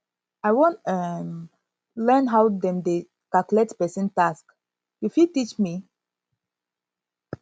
i wan um learn how dem dey calculate pesin tax you fit teach me teach me